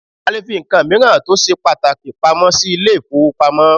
A lè fí nǹkan míràn tó ṣe pàtàkì pamọ́ sí ilé ìfọwọ́pamo.